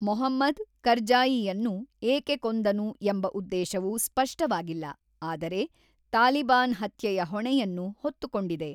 ಮೊಹಮ್ಮದ್, ಕರ್ಜಾಯಿಯನ್ನು ಏಕೆ ಕೊಂದನು ಎಂಬ ಉದ್ದೇಶವು ಸ್ಪಷ್ಟವಾಗಿಲ್ಲ, ಆದರೆ ತಾಲಿಬಾನ್ ಹತ್ಯೆಯ ಹೊಣೆಯನ್ನು ಹೊತ್ತುಕೊಂಡಿದೆ.